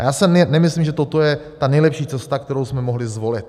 A já si nemyslím, že toto je ta nejlepší cesta, kterou jsme mohli zvolit.